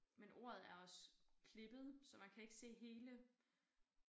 Men ordet er også klippet så man kan ikke se hele